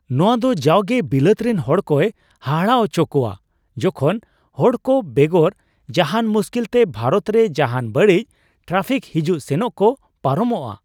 ᱱᱚᱣᱟᱫᱚ ᱡᱟᱣᱜᱮ ᱵᱤᱞᱟᱹᱛ ᱨᱮᱱ ᱦᱚᱲᱠᱚᱭ ᱦᱟᱦᱟᱲᱟ ᱟᱪᱚ ᱠᱚᱣᱟ ᱡᱚᱠᱷᱚᱱ ᱦᱚᱲᱠᱚ ᱵᱮᱜᱚᱨ ᱡᱟᱦᱟᱱ ᱢᱩᱥᱠᱤᱞ ᱛᱮ ᱵᱷᱟᱨᱚᱛ ᱨᱮ ᱡᱟᱦᱟᱱ ᱵᱟᱹᱲᱤᱡᱽ ᱴᱨᱟᱯᱷᱤᱠ ᱦᱤᱡᱩᱜ ᱥᱮᱱᱚᱜ ᱠᱚ ᱯᱟᱨᱚᱢᱚᱜᱼᱟ ᱾